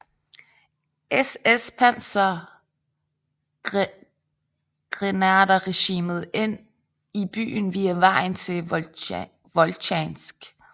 SS pansergrenaderregiment ind i byen via vejen til Voltjansk